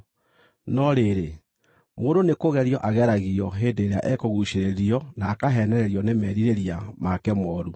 no rĩrĩ, mũndũ nĩkũgerio ageragio hĩndĩ ĩrĩa ekũguucĩrĩrio na akaheenererio nĩ merirĩria make mooru.